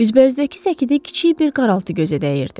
Üzbəüzdəki səkidə kiçik bir qaraltı gözə dəyirdi.